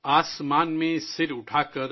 آسمان میں سر اٹھاکر